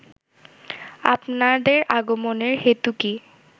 আপনাদের আগমনের হেতু কি